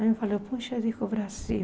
Aí eu falei, poxa, é para o Brasil.